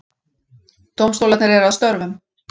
Dómstólarnir eru að störfum